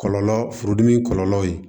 Kɔlɔlɔ furudimi kɔlɔlɔw ye